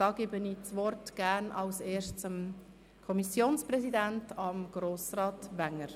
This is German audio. Das Wort hat der Präsident der SiK, Grossrat Wenger.